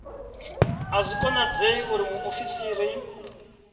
a zwi konadzei uri muofisiri